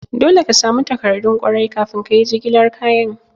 Dole ka samu takardun kwarai kafin kayi jigilar kayan.